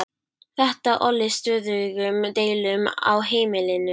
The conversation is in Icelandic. Þetta olli stöðugum deilum á heimilinu.